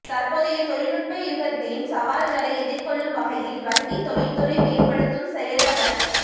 தற்போதைய தொழிநுட்ப யுகத்தின் சவால்களை எதிர்கொள்ளும் வகையில் வங்கி தொழிற்துறையை மேம்படுத்தும் செயலமர்